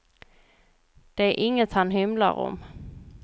Det är inget han hymlar om.